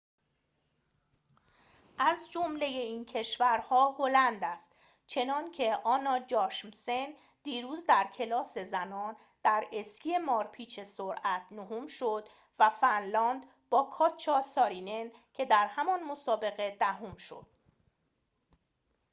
از جمله این کشورها هلند است چنان‌که آنا جاشمسن دیروز در کلاس زنان در اسکی مارپیچ سرعت نهم شد و فنلاند با کاتجا سارینن که در همان مسابقه دهم شد